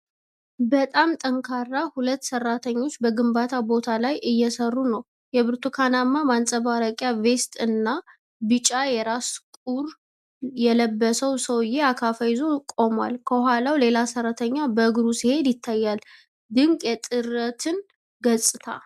በጣም ጠንካራ! ሁለት ሰራተኞች በግንባታ ቦታ ላይ እየሰሩ ነው። የብርቱካናማ ማንፀባረቂያ ቬስት እና ቢጫ የራስ ቁር የለበሰው ሰውዬ አካፋ ይዞ ቆሟል። ከኋላው ሌላ ሰራተኛ በእግሩ ሲሄድ ይታያል። ድንቅ የጥረትን ገጽታ!